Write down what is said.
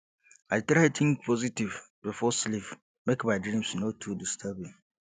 i try think positive before sleep make my dreams no too disturbing